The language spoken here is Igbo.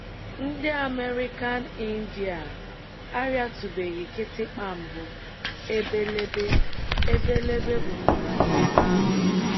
Ndị American Indian arịatụbeghị kịtịkpa mbụ, ebelebe ebelebe gbukwara n’ebe ahụ.